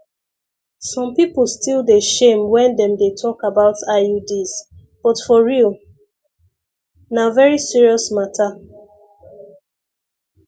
some people still dey shame when them dey talk about iuds but for real na very serious matter